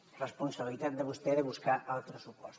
és responsabilitat de vostè buscar altres suports